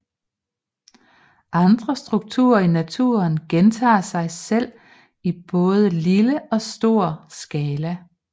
Andre strukturer i naturen gentager sig selv i både lille og stor skala